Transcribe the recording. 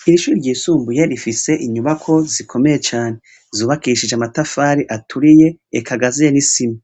Kwishure ryisumbuye rifise inyubako zikomeye cane zubakishije amatafari aturiye igazuye nisima